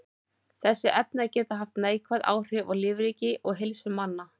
Þessi efni geta haft neikvæð áhrif á lífríki og heilsu manna.